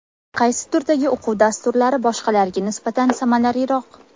Qaysi turdagi o‘quv dasturlari boshqalariga nisbatan samaraliroq?